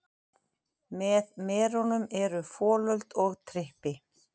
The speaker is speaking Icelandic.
Með merunum eru folöld og trippi.